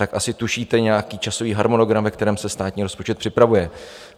Tak asi tušíte nějaký časový harmonogram, ve kterém se státní rozpočet připravuje.